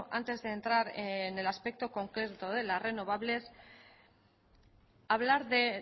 antes de entrar en el aspecto concreto de las renovables hablar de